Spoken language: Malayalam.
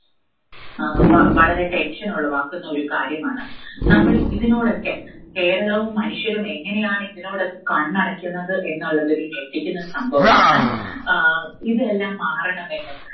വളരെ tension ഉളവാക്കുന്ന ഒരു കാര്യമാണ്. നമ്മൾ ഇതിനോടൊക്കെ, കേരളവും മനുഷ്യരും എങ്ങനെയാണ് ഇതിനോടൊക്കെ കണ്ണടയ്ക്കുന്നത് എന്നുള്ളത് ഒരു ഞെട്ടിക്കുന്ന സംഭവമാണ്. ആഹ് ഇതെല്ലാം മാറണമെന്നും